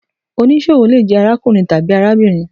Onísọwo le jẹ arákùrín tabi arábírín